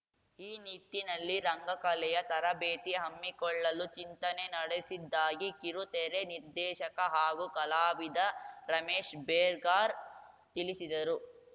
ಈ ನಿಟ್ಟಿನಲ್ಲಿ ರಂಗ ಕಲೆಯ ತರಬೇತಿ ಹಮ್ಮಿಕೊಳ್ಳಲು ಚಿಂತನೆ ನಡೆಸಿದ್ದಾಗಿ ಕಿರುತೆರೆ ನಿರ್ದೇಶಕ ಹಾಗೂ ಕಲಾವಿದ ರಮೇಶ್‌ ಬೇಗಾರ್‌ ತಿಳಿಸಿದರು